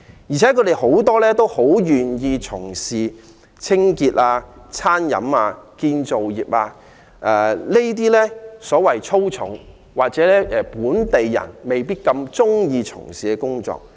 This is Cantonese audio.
而且，他們大多願意做清潔、餐飲、建造業工作，這些所謂"粗重"或本地人未必願意從事的工作。